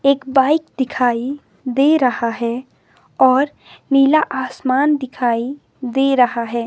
एक बाइक दिखाई दे रहा है और नीला आसमान दिखाई दे रहा है।